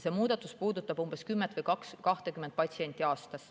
Muudatus puudutab 10 või 20 patsienti aastas.